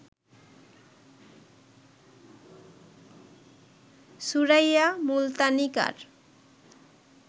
Suraiya Multanikar